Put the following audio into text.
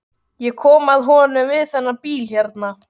Ég kom að honum við þennan bíl hérna.